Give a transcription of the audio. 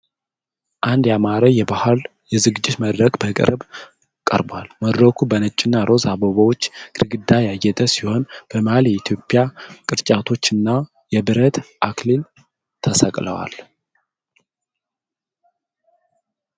አንድ ያማረ የባህል የዝግጅት መድረክ በቅርብ ቀርቧል። መድረኩ በነጭና ሮዝ አበቦች ግድግዳ ያጌጠ ሲሆን፣ በመሃል የኢትዮጵያ ቅርጫቶች እና የብረት አክሊል ተሰቅለዋል።